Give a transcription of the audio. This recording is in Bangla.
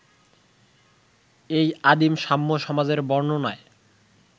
এই আদিম সাম্যসমাজের বর্ণনায়